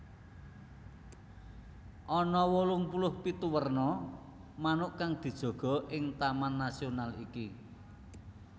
Ana wolung puluh pitu werna manuk kang dijaga ing taman nasional iki